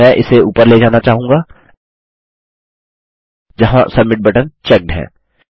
मैं इसे ऊपर ले जाना चाहूँगा जहाँ सबमिट बटन चेक्ड है